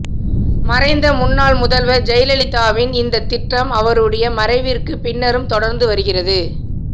மறைந்த முன்னாள் முதல்வர் ஜெயலலிதாவின் இந்த திட்டம் அவருடைய மறைவிற்கு பின்னரும் தொடர்ந்து வருகிறது